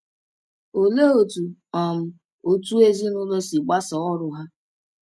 Olee otú um otu ezinụlọ si gbasaa ọrụ ha?